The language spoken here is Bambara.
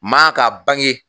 Maa ka bange